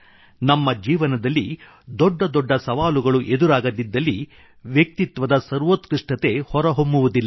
ನಮ್ಮ ಜೀವನದಲ್ಲಿ ದೊಡ್ಡ ದೊಡ್ಡ ಸವಾಲುಗಳು ಎದುರಾಗದಿದ್ದಲ್ಲಿ ವ್ಯಕ್ತಿತ್ವದ ಸರ್ವೋತ್ಕೃಷ್ಟತೆ ಹೊರಹೊಮ್ಮುವುದಿಲ್ಲ